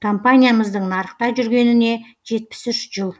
компаниямыздың нарықта жүргеніне жетпіс үш жыл